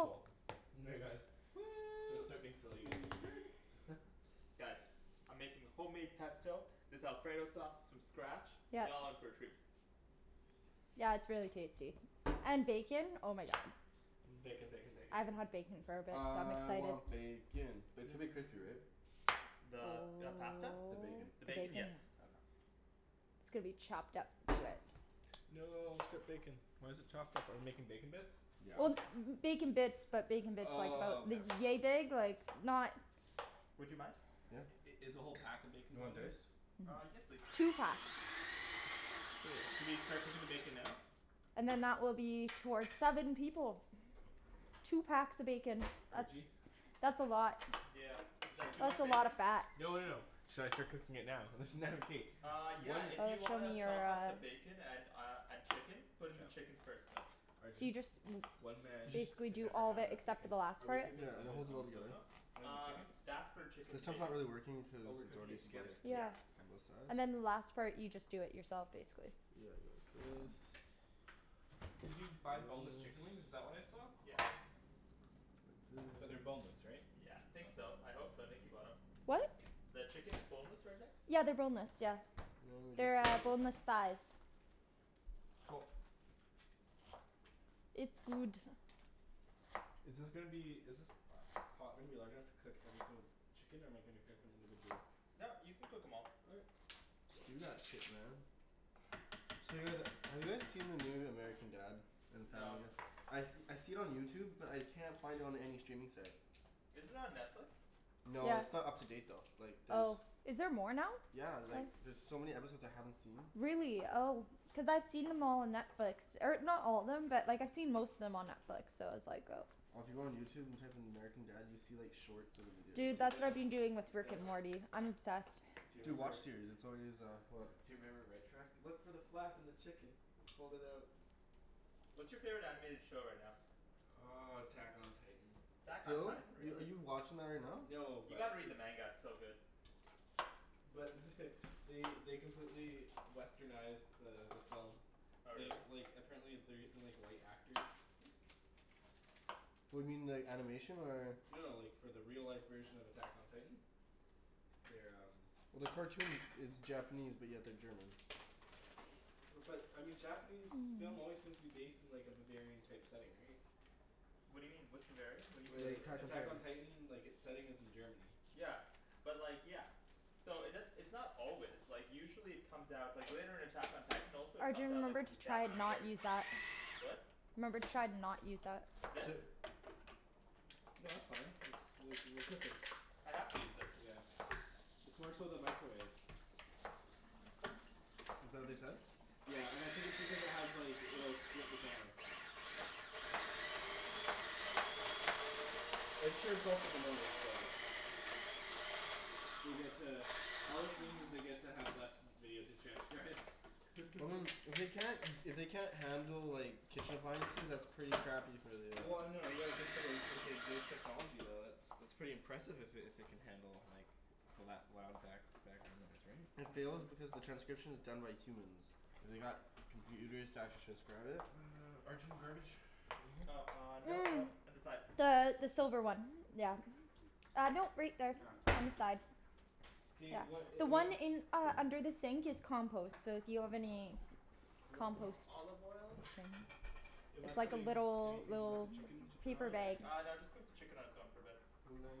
Cool. guys. Gonna Woo! start being silly again. Guys, I'm making homemade pesto, this alfredo sauce from scratch, Yep. y'all in for a treat. Yeah it's really tasty. And bacon? Oh my God. Bacon, bacon, bacon, I haven't bacon. had bacon for a bit so I'm really I excited. want bacon! But it's gonna be crispy, right? The Oh, pasta? The bacon. The the bacon? bacon. Yes. Okay. It's gonna be chopped up into it. No, strip bacon. Why's it chopped up? Are we making bacon bits? Yeah. Well bacon bits, but bacon bits like, Oh about, okay. yea big? Like not Would you mind? Yeah. I- is the whole pack of bacon You want going in there? diced? Uh, yes please. Two packs. Should we start cooking the bacon now? And then that will be for seven people. Two packs of bacon. That's, Arjie? that's a lot. Yeah. Is that too That's much a lot bacon? of fat. No no no. Should I start cooking it now? There's Uh yeah, Oh if you that's wanna from your, chop up uh. the bacon and uh and chicken? Put in the chicken first though. So Arjan, you just, one man You just basically can do never all have the, enough except for bacon. the last Are we part? cooking the Yeah and it oven holds it all on the stove together. top? Or the Uh, chicken? that's for chicken This and one's not bacon. really working Oh, cuz we're it's cooking already it together. sliced d- Yeah. Yeah. on K. both sides. And then the last part you just do it yourself basically. Yeah like this. Did you buy boneless chicken wings? Is This that what I saw? Yeah. Like this But they're boneless, right? Yeah. Think so. I hope so, Nikki bought em. What? The chicken is boneless, right Nikks? Yeah they're boneless, yeah. Now we just They're go like. boneless thighs. Cool. It's good. Is this gonna be, is this pot gonna be large enough to cook every single chicken or am I gonna cook them individually? No, you can cook em all. Okay. Just do that shit man. So you guys, have you guys seen the new American Dad and No. Family Guy? I I see it on YouTube but I can't find it on any streaming site. Is it on Netflix? No, Yeah. it's not up to date though. Like there's... Oh. Is there more now? Yeah like there's so many episodes I haven't seen. Really? Oh. Cuz I've seen them all on Netflix. Or not all of them, but like I've seen most of them on Netflix, so I was like oh. Well if you go on YouTube and type in American Dad you see like shorts of the videos. Dude, Dude, that's I what know. I've been doing with Rick Damn. and Morty. I'm obsessed. Do you Dude, remember WatchSeries. That's already is, go ahead Do you remember Red Truck? Look for the flap in the chicken! Fold it out. What's your favorite animated show right now? Uh, Attack on Titan. Attack on Are Titan? are Really? you watching that right now? No, You but gotta read the manga. It's so good. but they they completely westernized the the film. Oh really? They like, apparently they're using like white actors. What do you mean, the animation or? No, like, for the real life version of Attack on Titan. They're um Well the cartoon it's Japanese but yeah they're German. But I mean Japanese film always seems to be based in like a Bavarian type setting, right? What do you mean? What's Bavarian? What do Like The like Attack on Attack on you Titan. Titan, like its setting is in Germany. Yeah. But like, yeah. So it does - it's not always, like usually it comes out, like later in Attack on Titan also it comes Arjan, out like remember as to a try to Japanese not race. use that. What? Remember to try to not use that. This? No that's fine, it's like, we're cooking. I have to use this. Yeah. It's more so the microwave. Is that what they said? Yeah. And I think it's because it has like, you know, it'll strip the camera. I'm sure it's also the noise, but They get to, all this means is they get to have less video to transcribe. Well I mean, if they can't if they can't handle like kitchen appliances, that's pretty crappy for the uh Well no, you gotta consider too it's like voice technology, though, it's, that's pretty impressive if it if it can handle like the lou- loud back background noise, right? It fails because the transcription is done by humans. They got computers to actually transcribe it? Arjan, garbage? Oh uh, no no, Mm. on the side. The the silver one. Yeah. Uh no right there. Ah. On the side. K, Yeah. what a- The am I one in, uh under the sink is compost. So if you have any Little bit more compost, olive oil. just saying. Am I It's like a putting little, anything with the little chicken to turn paper on, bag. or? Uh no just cook the chicken on its own for a bit.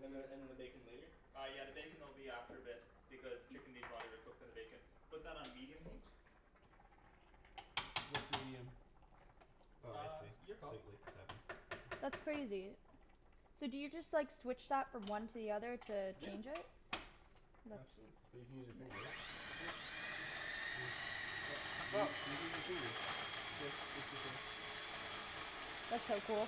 And then and then the bacon later? Uh yeah the bacon will be after a bit because the chicken needs longer to cook than the bacon. Put that on medium heat? What's medium? Oh I Uh, see. your call. Wait wait, seven. That's crazy. So do you just like switch that from one to the other to Yeah. change it? Nuts. But you can use your finger right? Yep. Hmm. You Sup? you can use that too though. That's so cool.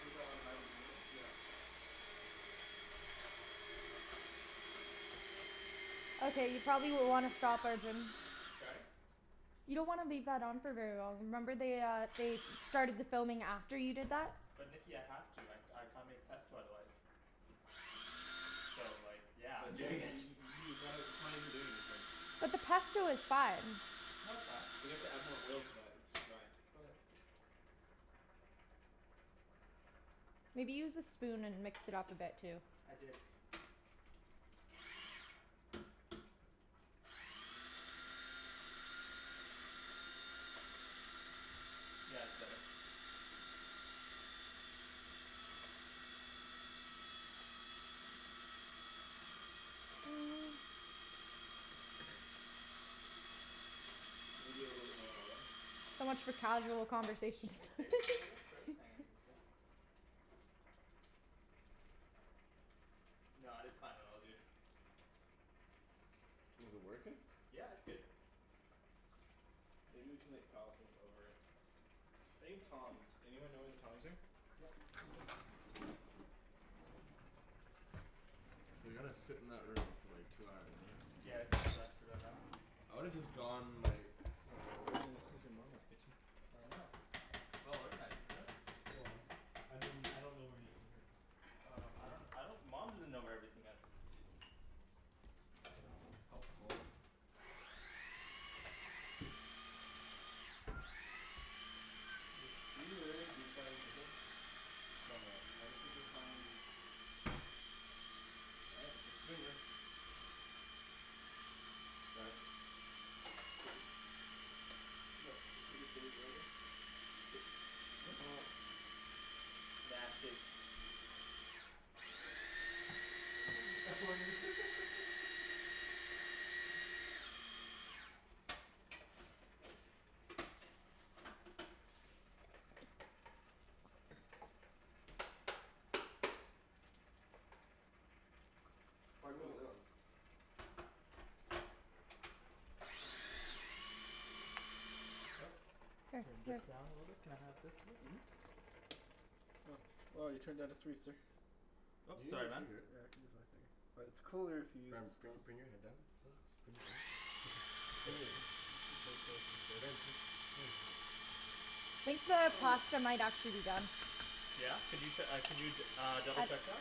Was that on high to begin with? Yeah. Okay you probably wanna stop Arjan. Sorry? You don't wanna leave that on for very long. Remember they uh they started the filming after you did that? But Nikki I have to, I I can't make pesto otherwise. So like yeah, But I'm you doing haven't y- it. y- you gotta, it probably isn't doing anything. But the pesto is fine. No it's not. You have to add more oil to that. It's too dry. Go ahead. Maybe use the spoon and mix it up a bit too. I did. Yeah it's better. Mm. Maybe a little bit lower, eh? So much for casual conversation. Let me taste it a little bit first? Hold on, give me a sec. No, it's fine. It all good. Is it working? Yeah it's good. Maybe we can like pile things over it. I need tongs. Anyone know where the tongs are? Yeah. So they gotta sit in that room for like two hours right? Yeah it kind of sucks for them, huh? I would have just gone like, somewhere. Arjan, this is your Mama's kitchen. I know. Well organized, isn't it? Well, I mean, I don't know where anything is. Oh no. I don't, I don't. Mom doesn't know where everything is. Helpful. Are you literally deep frying chicken? Somewhat. I just have to try and... Looking good. Sorry? What? Nasty. Try putting the lid on. Oh. Here, Turn this here. down a little bit, can I have this lid? Well you turned it down to three sir. You Oop, can use sorry your man. finger. Yeah I can use my finger. But it's cooler if you use Ryan this bring thing... bring your head down. Just bring it in. Here. Ryan just, come on. I think the pasta might actually be done. Yeah? Could you uh could you uh double I, check that?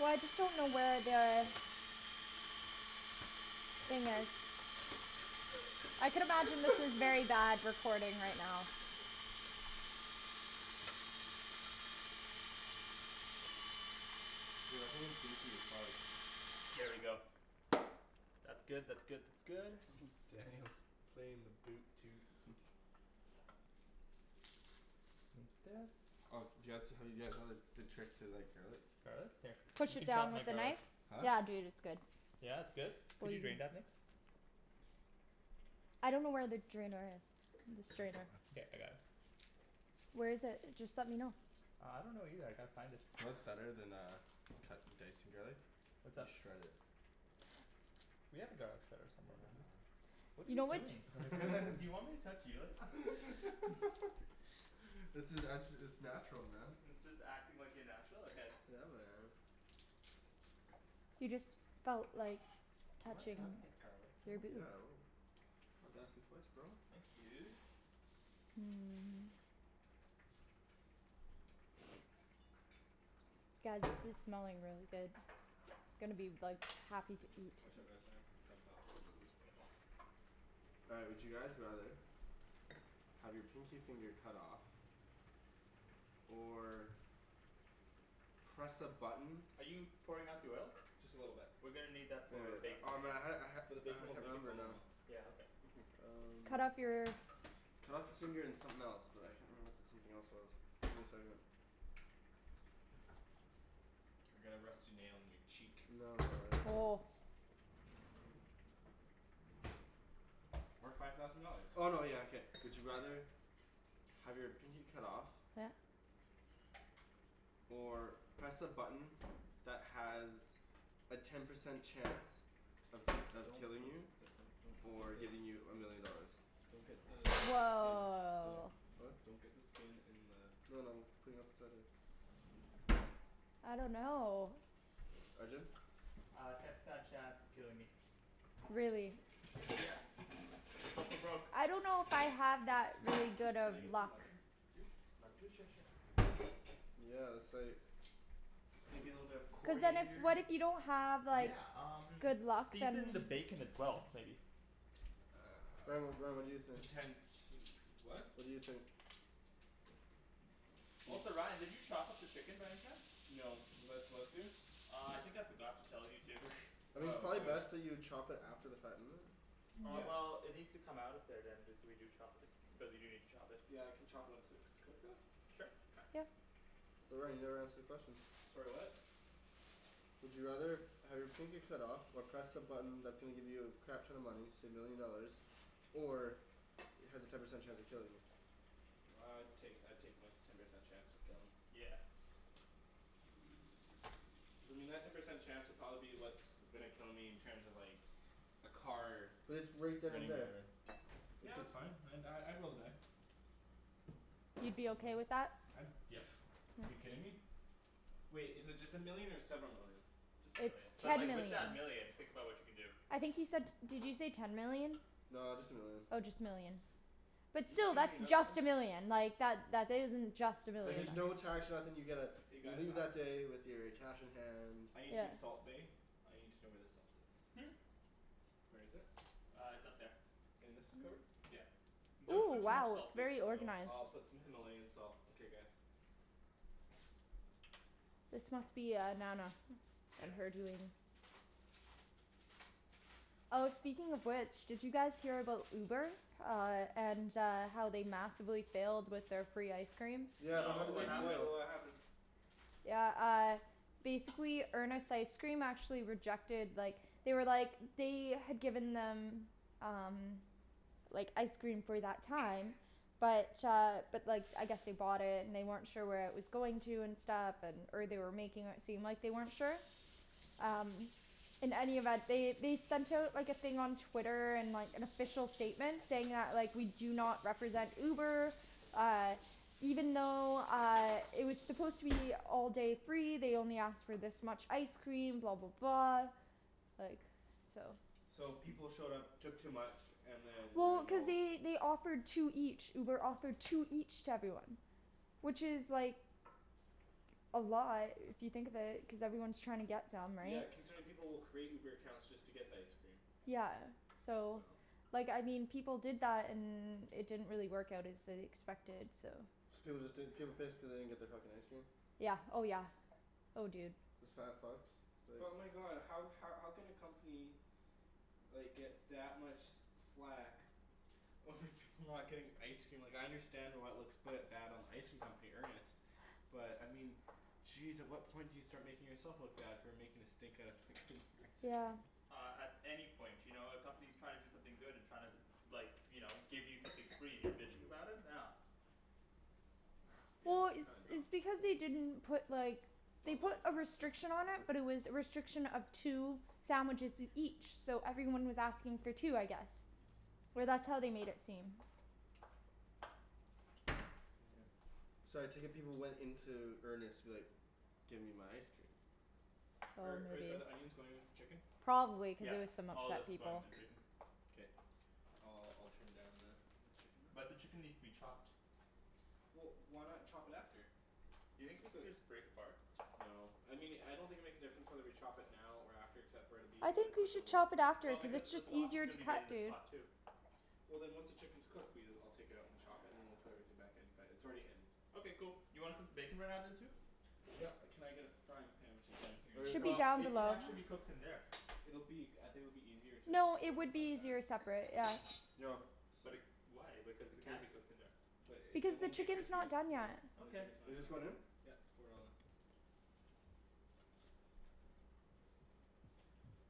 well I just don't know where the... I could imagine this is very bad recording right now. Dude I think it's goopy as fuck. There we go. That's good, that's good, that's good. Daniel's playing the boot toot. Take this. Oh do you guys, have you guys heard the trick to like garlic? Garlic? Here. Push You it can chop down my with a garlic. knife? Huh? Yeah dude it's good. Yeah it's good? Can you drain that Nikks? I don't know where the drainer is. The strainer. Okay. I got it. Where is it? Just let me know. Uh, I don't know either. I gotta find it. You know what's better than uh cutting dicing garlic? What's up? Just shred it. We have a garlic shredder somewhere, don't we? What are You you know what doing? Do you want me to touch you like that? This is, I'm it's natural man. It's just acting like you're natural? Okay. Yeah man. You just felt like Do you wanna touching cut up that garlic for your me? boob. Yeah I will. Don't have to ask me twice bro. Thanks dude. Hmm. Guys this is smelling really good. Gonna be like, happy to Hmm. eat. Whichever is fine. It's uncomfortable as it looks. All right, would you guys rather Have your pinky finger cut off? Or. Press a button Are you pouring out the oil? Just a little bit. We're gonna need that Wait for wait. bacon Oh later. man I had For the it. bacon I we'll can't make it remember it now. Yeah, okay. Um. Cut off your? Cut off your finger and something else. But I can't remember what the something else was. Give me a second. Or get a rusty nail in your cheek. No no no, it's uh. Oh. Or five thousand dollars. Oh no yeah okay. Would you rather Have your pinky cut off? Yeah. Or press a button that has a ten percent chance of of Don't. killing you? Or giving you a million dollars. Don't get the skin... Woah. Huh? Don't get the skin in the... No no. I'm putting it off to the side here. I don't know. Arjan? Uh, ten percent chance of killing me. Really? Yeah. Go for broke. I don't know if I have that really Can good can of I get some luck. lemon juice? Lemon juice? Sure sure. Yeah that's like. Maybe a little bit of Cuz then if coriander? what if you don't have like Yeah um good luck then season the bacon as well maybe. Ryan what, what do you Um think? potential what? What do you think? Also Ryan did you chop up the chicken by any chance? No, was I supposed to? Uh I think I forgot to tell you to. I mean it's Oh probably okay. best that you chop it after the fact, isn't it? Uh Yeah. well it needs Mm. to come out of there then if we do chop it. Because we do need to chop it. Yeah I can chopped once it's cooked though? Sure. Okay. Yep. Ryan you never answered the question. Sorry what? Would you rather have your pinky cut off, or press a button that's gonna give you a crap ton of money, say a million dollars, or has a ten percent chance of killing you? Uh I'd take I'd take my ten percent chance of killing. Yeah. I mean that ten percent chance would probably be what's gonna kill me in terms of like, a car But it's right then and running me there. over. It Yeah could that's fine, I'd die, I'd roll the die. You'd be okay with that? I'd, yeah. You kidding me? Wait, is it just a million or several million? Just a It's million. But Just ten a like with million. that million, think about what you can do. I think he said, did you say ten million? No, just a million. Oh just a million. But You still, can that's just a million. Like that isn't just a I But need there's million. no to tax or nothing, you get a, You you guys? leave that day with your cash in hand I need to be Yeah. salt bae; I need to know where the salt is. Hmm? Where is it? Uh it's up there. In this cupboard? Yeah. Don't Ooh put too much wow salt it's please. very No. organized. I'll put some Himalayan salt, okay guys. This must be uh Nana. And Yeah. her doing. Oh speaking of which, did you guys hear about Uber? Uh and uh how they massively failed with their free ice cream? Yeah but how No, No, did what they happened? fail? what happened? Yeah uh, basically Earnest Ice Cream actually rejected, like, they were like, they had given them, um. Like ice cream for that time, but uh but like I guess they bought it and they weren't sure where it was going to and stuff, and or they were making it seem like they weren't sure. Um. In any event, they they sent out like a thing on Twitter, and like an official statement saying that like, we do not represent Uber, uh, even though uh it was supposed to be all day free, they only asked for this much ice cream, blah blah blah Like, so. So people showed up, took too much, and then Well, ruined the cuz whole... they they offered two each. Uber offered two each to everyone. Which is like. A lot if you think of it, cuz everyone's trying to get them, Yeah right? considering people will create Uber accounts just to get the ice cream. Yeah so, So. like I mean people did that and it didn't really work out as they expected, so. So was it that, people pissed cuz they didn't get their fucking ice cream? Yeah. Oh yeah. Oh dude. Isn't that fucked? Like But my god, how how can a company like get that much flak over people not getting ice cream? Like I understand why it looks quite bad on the ice cream company, Earnest, but I mean jeez at what point do you start making yourself look bad for making a stink out of fucking ice cream? Yeah. Uh at any point. You know, a company's trying to do something good and trying to like, you know, give you something free and you're bitching about it? No. Yeah, Well it's it's kind of dumb. it's because they didn't put like, they Buttload put of a pasta. restriction on it Mhm. but it was a restriction of two sandwiches each, so everyone was asking for two I guess. Or that's how they made it seem. So I take it people went into Earnest like, give me my ice cream. Oh I'm Are with are the you. onions going with the chicken? Probably cuz Yeah. there was some All of this upset is going people. to the chicken. Okay. I'll I'll turn down the the chicken there. But the chicken needs to be chopped. Well why not chop it after? Do you think we could just break apart? No. I mean I don't think it makes a difference whether we chop it now or after except for it'll be, it I would have think we cooked a should little bit chop it after Well quicker. cuz because it's the just sauce is easier to gonna be made in cut, this dude. pot too. Well then once the chicken's cooked, we'll, I'll take it out and chop it and then we'll put everything back in. But it's already in. Okay cool. You wanna cook the bacon right now then too? Yep, can I get a frying pan which is down here? Should be Well down it can below. actually be cooked in there. It'll be, I think it'll be easier to just No, cook it it in the would frying be pan? easier separate. Yeah. Yo. But it, why, because it can be cooked in there. But Because it the won't get chicken's crispy. not done yet. Yep You Okay. want just this one in? pour it all in.